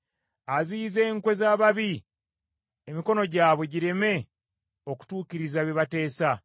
Aziyiza enkwe z’ababi, emikono gyabwe gireme okutuukiriza bye bateesa.